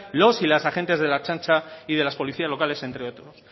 los y las agentes de la ertzaintza y de las policías locales entre otros